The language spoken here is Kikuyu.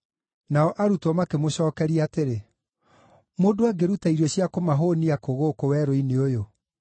Nao arutwo makĩmũcookeria atĩrĩ, “Mũndũ angĩruta irio cia kũmahũũnia kũ gũkũ werũ-inĩ ũyũ?”